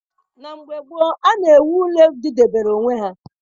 Na mgbe gboo, a na-ewu ụlọ didebere onwe ha.